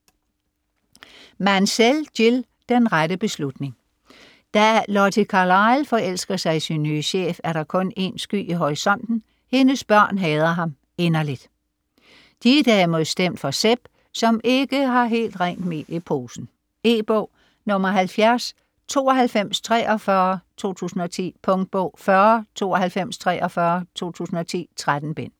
Mansell, Jill: Den rette beslutning Da Lottie Carlyle forelsker sig i sin nye chef, er der kun én sky i horisonten: hendes børn hader ham inderligt. De er derimod stemt for Seb, som ikke har helt rent mel i posen. E-bog 709243 2010. Punktbog 409243 2010. 13 bind.